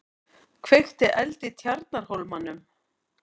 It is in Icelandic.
Kveikti eld í Tjarnarhólmanum